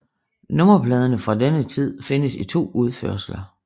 Nummerpladerne fra denne tid findes i to udførelser